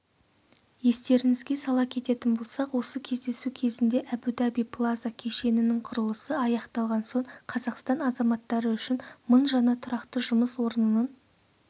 естеріңізге сала кететін болсақ осы кездесу кезінде әбу-даби плаза кешенінің құрылысы аяқталған соң қазақстан азаматтары үшін мың жаңа тұрақты жұмыс орнының